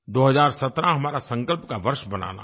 2017 हमारा संकल्प का वर्ष बनाना है